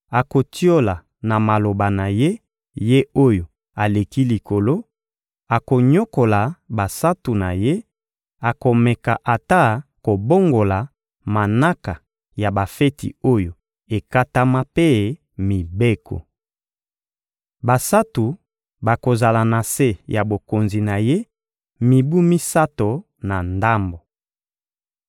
akotiola na maloba na ye Ye-Oyo-Aleki-Likolo, akonyokola basantu na Ye, akomeka ata kobongola manaka ya bafeti oyo ekatama mpe mibeko. Basantu bakozala na se ya bokonzi na ye mibu misato na ndambo.